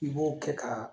I b'o kɛ ka